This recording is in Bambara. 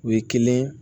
O ye kelen